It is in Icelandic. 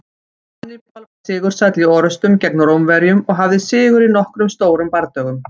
Hannibal var sigursæll í orrustum gegn Rómverjum og hafði sigur í nokkrum stórum bardögum.